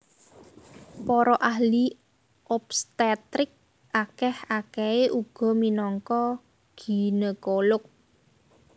Para ahli obstetrik akèh akèhé uga minangka ginekolog